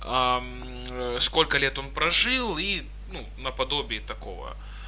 сколько лет он прожил и наподобие такого